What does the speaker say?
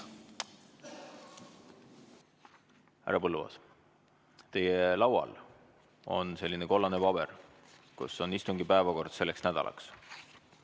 Härra Põlluaas, teie laual on selline kollane paber, kus on istungi päevakord selleks nädalaks.